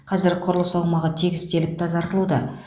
қазір құрылыс аумағы тегістеліп тазартылуда